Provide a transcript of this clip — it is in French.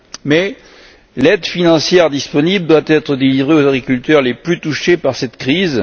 Mais l'aide financière disponible doit être délivrée aux agriculteurs les plus touchés par cette crise.